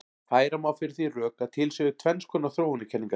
Færa má fyrir því rök að til séu tvenns konar þróunarkenningar.